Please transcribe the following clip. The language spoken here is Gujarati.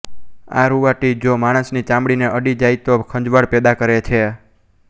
આ રૂંવાટી જો માણસની ચામડીને અડી જાય તો ખંજવાળ પેદા કરે છે